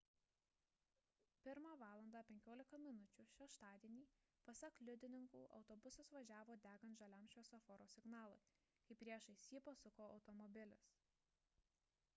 1:15 val šeštadienį pasak liudininkų autobusas važiavo degant žaliam šviesoforo signalui kai priešais jį pasuko automobilis